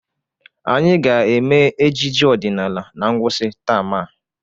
Anyị ga-eme ejije ọdịnala na ngwụsị taam a.